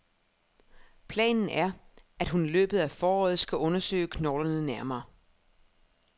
Planen er, at hun i løbet af foråret skal undersøge knoglerne nærmere.